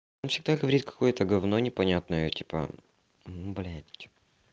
он всегда говорит какое-то говно непонятно типа ну блядь